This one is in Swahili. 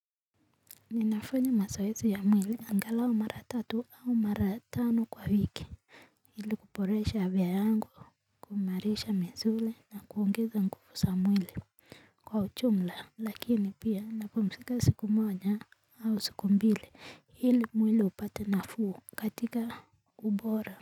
Ninafanya mazoezi ya mwili angalau mara tatu au mara tano kwa wiki. Ili kuboresha afya yangu, kuimarisha misuli na kuongeza nguvu za mwili. Kwa ujumla lakini pia napumzika siku moja au siku mbili ili mwili upate nafuu katika ubora.